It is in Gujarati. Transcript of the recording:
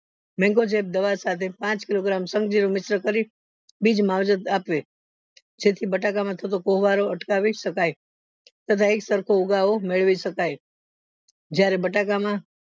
દવા સાથે પાંચ કિલ્લો mixture કરી બીજ માવજત આપવી જેથી બટકા માં થતો કોવારો અટકાવી શકાય તથા એક સરખો ઉગાવો મેળવી શકાય જયારે બટાકા માં